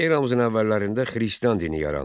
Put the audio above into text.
Eramızın əvvəllərində Xristian dini yarandı.